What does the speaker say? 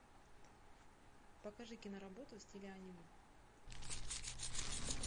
покажи киноработу в стиле аниме